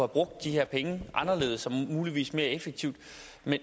brugt de her penge anderledes og muligvis mere effektivt